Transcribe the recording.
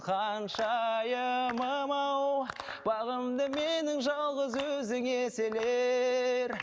ханшайымым ау бағымды менің жалғыз өзің еселер